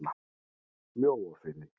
Mjóafirði